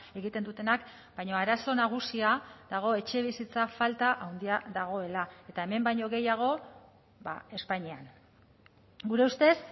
egiten dutenak baina arazo nagusia dago etxebizitza falta handia dagoela eta hemen baino gehiago espainian gure ustez